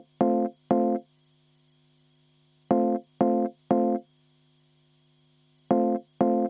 Helle-Moonika Helme, palun!